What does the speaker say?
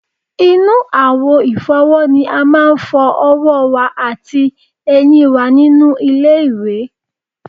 Inú àwo ìfọ́wọ́ ni a máa ń fọ ọwọ́ wá àti eyín wa nínú ilé-ìwẹ̀